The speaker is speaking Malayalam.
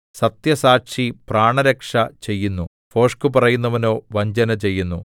സത്യസാക്ഷി പ്രാണരക്ഷ ചെയ്യുന്നു ഭോഷ്ക് പറയുന്നവനോ വഞ്ചന ചെയ്യുന്നു